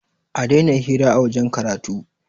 a Daina hira a wajen karatu!